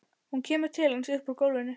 Hún kemur til hans upp úr gólfinu.